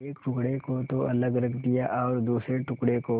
एक टुकड़े को तो अलग रख दिया और दूसरे टुकड़े को